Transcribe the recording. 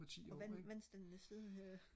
og hvad med vandstanden den er steget hører jeg